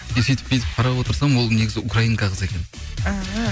сөйтіп бүйтіп қарап отырсам ол негізі украинка қыз екен ііі